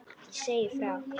Segja frá.